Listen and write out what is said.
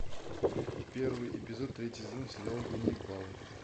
первый эпизод третий сезон сериала ганнибал